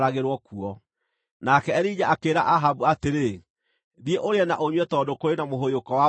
Nake Elija akĩĩra Ahabu atĩrĩ, “Thiĩ ũrĩe na ũnyue tondũ kũrĩ na mũhũyũko wa mbura nene.”